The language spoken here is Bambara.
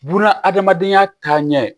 Buna adamadenya taaɲɛ